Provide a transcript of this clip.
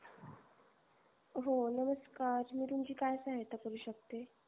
हो नमस्कार मी तुमची काय सहायता करू शकते?